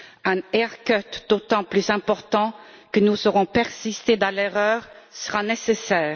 Un haircut d'autant plus important que nous aurons persisté dans l'erreur sera nécessaire.